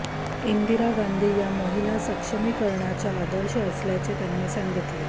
इंदिरा गांधी या महिला सक्षमीकरणाच्या आदर्श असल्याचे त्यांनी सांगितले